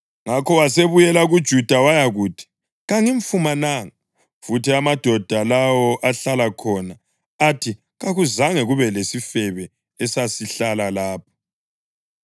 Ngakho wasebuyela kuJuda wayakuthi, “Kangimfumananga. Futhi amadoda lawo ahlala khona athi kakuzange kube lesifebe esasihlala lapho.”